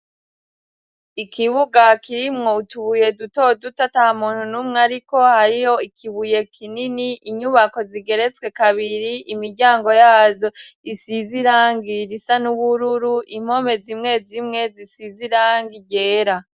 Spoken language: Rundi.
ikibuga kirimwo utubuye duto duto ta muntu numwe ariko hariho ikibuye kinini inyubako zigeretswe kabiri imiryango yazo isizirangi risa n'ubururu impome z'imwe zimwe zisizirangi ryera